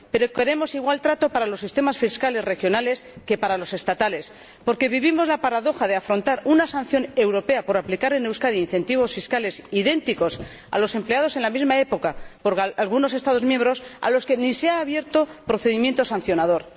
Pero queremos para los sistemas fiscales regionales el mismo trato que para los estatales, porque vivimos la paradoja de afrontar una sanción europea por aplicar en Euskadi incentivos fiscales idénticos a los empleados en la misma época por algunos Estados miembros a los que ni se ha abierto procedimiento sancionador.